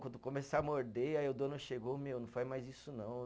Quando começar a morder, aí o dono chegou, meu, não faz mais isso não.